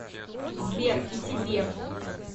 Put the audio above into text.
сбер и тебе